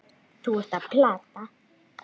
Þú ert að plata.